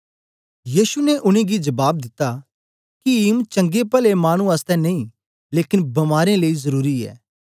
यीशु ने उनेंगी जबाब दिता कीम चंगे पले मानु आसतै नेई लेकन बमारें लेई जरुरी ऐ